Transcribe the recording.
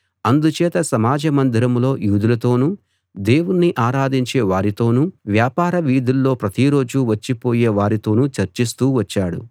అందుచేత సమాజ మందిరంలో యూదులతోనూ దేవుణ్ణి ఆరాధించే వారితోనూ వ్యాపార వీధుల్లో ప్రతి రోజూ వచ్చిపోయే వారితోనూ చర్చిస్తూ వచ్చాడు